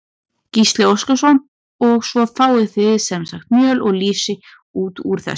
Gísli Óskarsson: Og svo fáið þið sem sagt mjöl og lýsi út úr þessu?